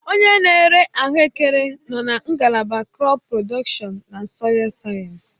Onye na-ere ahuekere nọ na ngalaba krọp prodọkshọn na sọịl sayensị.